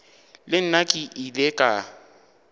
le nna ke ile ka